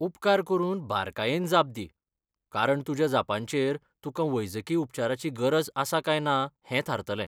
उपकार करून बारकायेन जाप दी, कारण तुज्या जापांचेर तुकां वैजकी उपचाराची गरज आसा काय ना हें थारतलें.